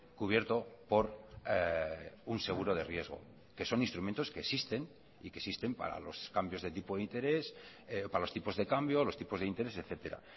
cubierto por un seguro de riesgo que son instrumentos que existen y que existen para los cambios de tipo de interés para los tipos de cambio los tipos de interés etcétera